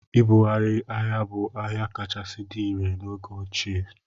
Ịbugharị ahịa bụ ahịa kachasị dị irè n'oge ochie.